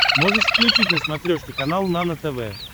можешь включить на смотрешке канал нано тв